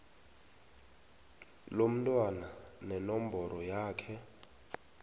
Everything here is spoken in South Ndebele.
lomntwana nenomboro yakhe